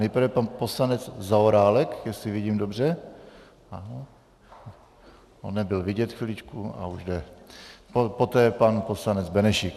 Nejprve pan poslanec Zaorálek, jestli vidím dobře, on nebyl vidět, chviličku, ale už jde, poté pan poslanec Benešík.